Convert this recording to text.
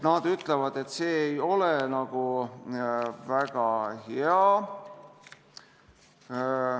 Nad ütlevad, et see ei ole väga hea.